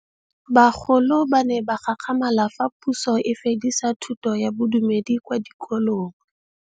Bagolo ba ne ba gakgamala fa Pusô e fedisa thutô ya Bodumedi kwa dikolong.